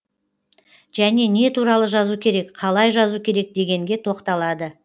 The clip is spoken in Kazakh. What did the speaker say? және не туралы жазу керек қалай жазу керек дегенге тоқталады